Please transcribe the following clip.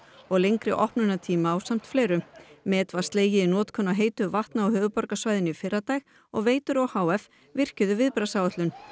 og lengri opnunartíma ásamt fleiru met var slegið í notkun á heitu vatni á höfuðborgarsvæðinu í fyrradag og Veitur o h f virkjuðu viðbragðsáætlun